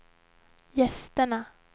gästerna